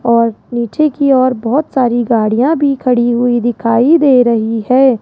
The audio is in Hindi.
और नीचे की ओर बहोत सारी गाड़ियां भी खड़ी हुई दिखाई दे रही है।